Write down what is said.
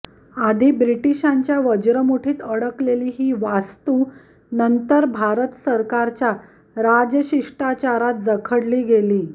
आधी ब्रिटिशांच्या वज्रमुठीत अडकलेली ही वास्तू नंतर भारत सरकारच्या राजशिष्टाचारात जखडली गेली